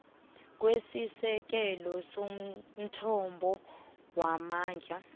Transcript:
kwesisekelo somthombo wamandla